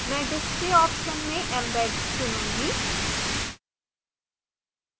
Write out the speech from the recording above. मैं display option में embed चुनुंगी